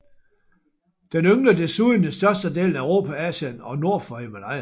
Den yngler desuden i størstedelen af Europa og Asien nord for Himalaya